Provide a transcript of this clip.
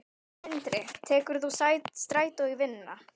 Sindri: Tekur þú strætó í vinnuna?